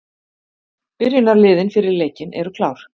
Byrjunarliðin fyrir leikinn eru klár.